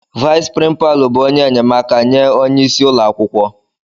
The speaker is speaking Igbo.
Vais prínpalu bụ ónyé enyemaka nye ónyé ịsị ụlọakwụkwọ.